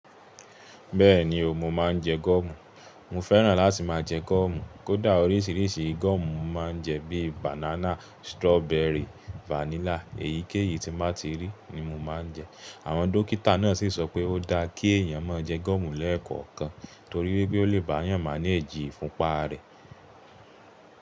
Bẹ́ẹ̀ni o, mo máa ń jẹ gọ́ọ̀mù. Mo fẹ́ràn láti máa jẹ gọ́ọ̀mù. Kódà oríṣiríṣi gọ́ọ̀mù mo máa ń jẹ bíi bànánà, strọ́bẹrì, vanílà èyíkéyìí tí mo ti rí ni mo máa ń jẹ. Àwọn dókítà náà sì sọ pé ó dáa kí èèyàn máa jẹ gọ́ọ̀mù lẹ́ẹ̀kọ̀kan torí pé ó lè bá èèyàn managì ifún pá rẹ̀.